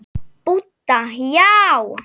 Budda: Já.